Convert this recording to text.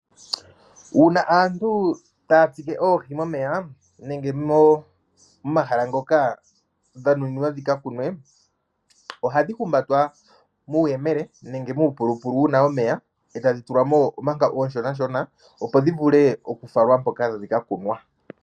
Uuna taya tsike oohi momeya nenge momahala ngoka dha nuninwa dhika kunwe ohadhi humbatwa muuyemele nenge muupulupulu wu na omeya e tadhi tulwa mo omanga oonshona, opo dhi falwe mpoka tadhi ka kunwa.